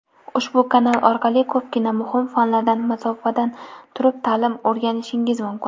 ushbu kanal orqali ko‘pgina muhim fanlardan masofadan turib ta’lim o‘rganishingiz mumkin.